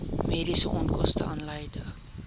mediese onkoste aanleiding